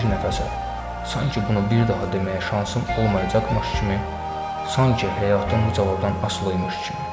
Bir nəfəsə, sanki bunu bir daha deməyə şansım olmayacaqmış kimi, sanki həyatım bu cavabdan asılıymış kimi.